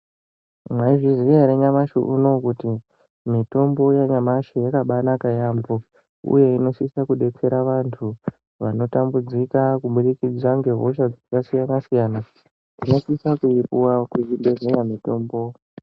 Mwaizviziya ere nyamashi unowu kuti mitombo yanyamashi yakabaanaka yaambho uye inosise kudetsera vanthu vanotambudzika kuburikidza ngehosha dzakasiyana siyana, tinosisa kuipuwa kuzvibhedhleya mitombo.